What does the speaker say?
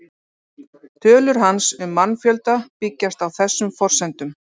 Tölur hans um mannfjölda byggjast á þessum forsendum.